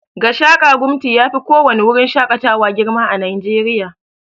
Gashaka-gumti yafi ko wani wurin shakatawa girma a najeriya